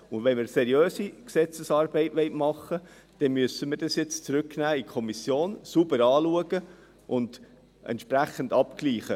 » Wenn wir seriöse Gesetzesarbeit machen wollen, müssen wir dies jetzt in die Kommission zurücknehmen, sauber anschauen und entsprechend abgleichen.